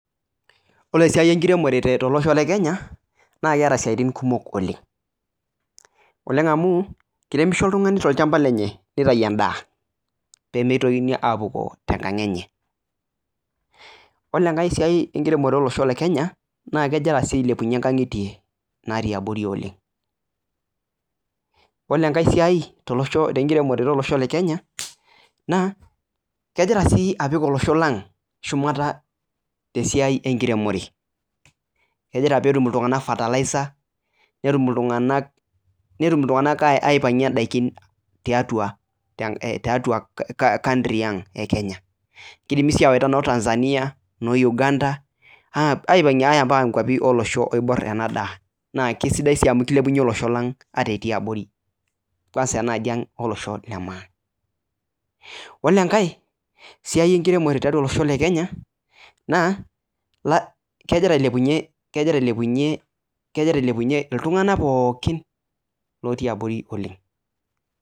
Ore esiai enkiremore tolosho lee Kenya naa keeta siatin kumok oleng amu ekiremisho oltung'ani tolchamba lenye nitau endaa pee mitokini apukoo tenkang enye ore enkae siai enkiremore olosho lee Kenya naa kegira sii ailepunye nkang'itie natii abori oleng ore enkae siai tenkiremore olesho lee Kenya naa kegira sii apik olosho lang shumata te siai enkiremore kegira pee etum iltung'ana fertilizer netum iltung'ana aipangie edaiki tiatua country Ang ee Kenya kidimi sii awaita noo Tanzania noo Uganda ayaa nkwapii olosho oibor naa kisidai amu kilepunye olosho lang ata etii abori kwanza enaa ajii ang olosho lee maa ore enkae siai enkiremore tiatua olosho lee Kenya naa kegira ailepunye iltung'ana pookin lotii abori oleg